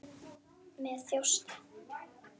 Með þjósti.